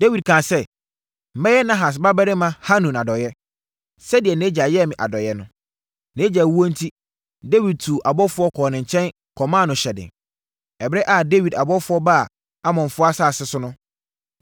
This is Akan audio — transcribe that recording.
Dawid kaa sɛ, “Mɛyɛ Nahas babarima Hanun adɔeɛ, sɛdeɛ nʼagya yɛɛ me adɔeɛ no.” Nʼagya wuo enti, Dawid tuu abɔfoɔ kɔɔ ne nkyɛn kɔmaa no hyɛden. Ɛberɛ a Dawid abɔfoɔ baa Amonfoɔ asase so no,